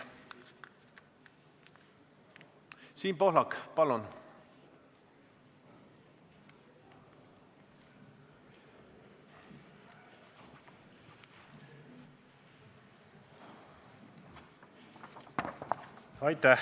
Siim Pohlak, palun!